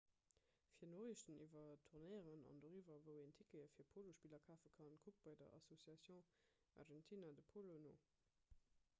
fir noriichten iwwer tournéieren an doriwwer wou een tickete fir polospiller kafe kann kuckt bei der asociacion argentina de polo no